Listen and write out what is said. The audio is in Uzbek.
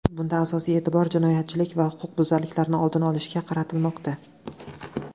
Bunda asosiy e’tibor jinoyatchilik va huquqbuzarliklarning oldini olishga qaratilmoqda.